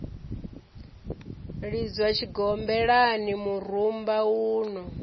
lidzwa tshigombelani murumba un o